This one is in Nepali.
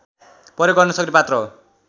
प्रयोग गर्नसक्ने पात्र हो